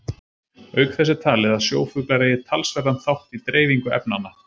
Auk þess er talið að sjófuglar eigi talsverðan þátt í dreifingu efnanna.